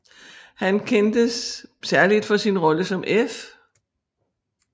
Han kendes særligt for sin rolle som F